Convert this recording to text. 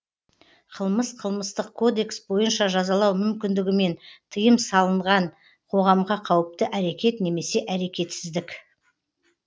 қылмыс қылмыстық кодекс бойынша жазалау мүмкіндігімен тыйым салынған қоғамға қауіпті әрекет немесе әрекетсіздік